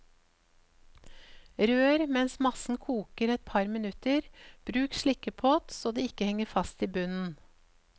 Rør mens massen koker et par minutter, bruk slikkepott så det ikke henger fast i bunnen.